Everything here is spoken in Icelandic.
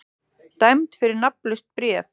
Dæmd fyrir nafnlaust bréf